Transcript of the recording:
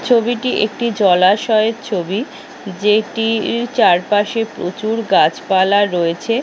ছবিটি একটি জলাশয়ের ছবি যেটি চারপাশে প্রচুর গাছপালা রয়েছে।